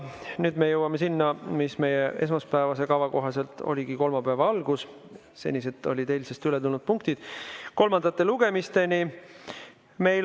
Nüüd me jõuame sinna, mis meie esmaspäevase kava kohaselt pidigi olema kolmapäevase istungi algus, senised olid eilsest ületulnud punktid, nüüd jõuame kolmandate lugemisteni.